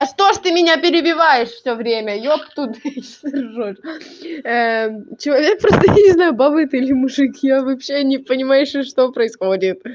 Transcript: а что же ты меня перебиваешь всё время ёб тудей что ты ржёшь человек просто я не знаю баба это или мужик я вообще не понимаю сейчас что происходит